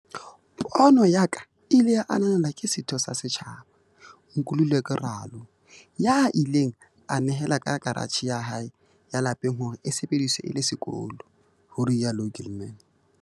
"Pono ya ka e ile ya ananelwa ke setho sa setjhaba, Nkululeko Ralo, ya ileng a nehela ka karatjhe ya hae ya lapeng hore e sebediswe e le sekolo," ho rialo Gilman.